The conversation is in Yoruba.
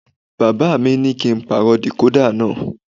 Bàbá mi ní kí á pàrọ̀ decoda náà.